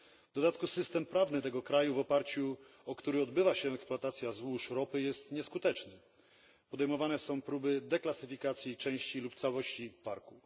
W dodatku system prawny tego kraju, w oparciu o który odbywa się eksploatacja złóż ropy, jest nieskuteczny. Podejmowane są próby deklasyfikacji części lub całości parku.